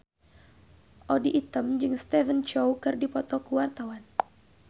Audy Item jeung Stephen Chow keur dipoto ku wartawan